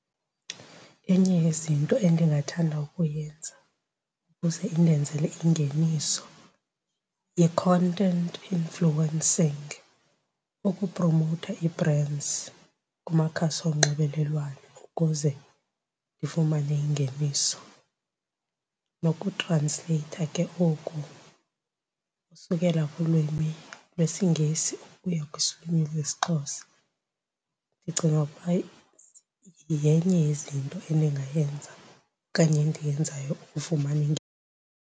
Enye yezinto endingathanda ukuyenza ukuze indenzele ingeniso yi-content influencing, ukupromowutha ii-brands kumakhasi onxibelelwano ukuze ndifumane ingeniso. Nokutransleyitha ke oku usukela kulwimi lwesiNgesi ukuya lwesiXhosa. Ndicinga ukuba yenye yezinto endingayenza okanye endiyenzayo ukufumana .